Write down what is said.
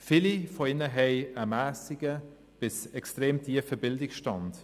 Viele von ihnen haben einen mässigen bis extrem tiefen Bildungsstand.